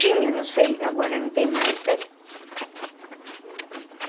Tinha, não sei, agora não tem mais, né? Uhum.